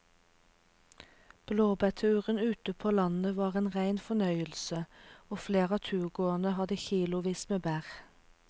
Blåbærturen ute på landet var en rein fornøyelse og flere av turgåerene hadde kilosvis med bær.